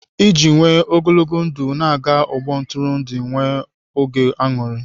Iji nwee ogologo ndụ, na-aga ọgbọ ntụrụndụ enwe oge aṅụrị.